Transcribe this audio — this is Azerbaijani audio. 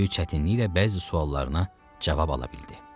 Böyük çətinliklə bəzi suallarına cavab ala bildi.